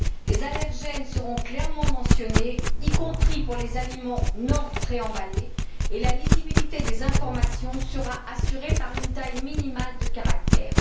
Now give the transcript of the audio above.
Les allergènes seront clairement mentionnés, y compris pour les aliments non préemballés, et la lisibilité des informations sera assurée par une taille minimale de caractères.